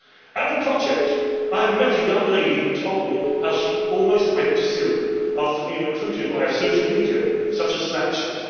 At the project I had met a young lady who told me how she almost went to Syria, after being recruited via social media such as Snapchat.